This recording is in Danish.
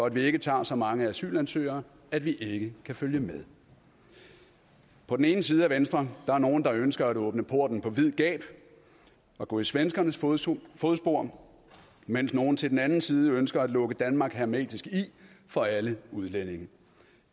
at vi ikke tager så mange asylansøgere at vi ikke kan følge med på den ene side af venstre der nogle der ønsker at åbne porten på vid gab og gå i svenskernes fodspor fodspor mens nogle til den anden side ønsker at lukke danmark hermetisk i for alle udlændinge